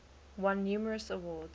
won numerous awards